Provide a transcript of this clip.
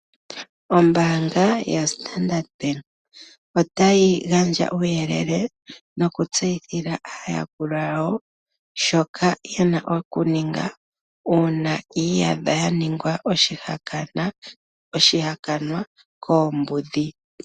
Ombaanga yaStandard bank otayi gandja uuyelele nokutseyithila aayakulwa yawo shoka yena oku ninga uuna yi iyadha ya ninga oshihakanwa koombudhi.